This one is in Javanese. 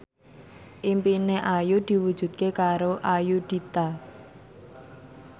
impine Ayu diwujudke karo Ayudhita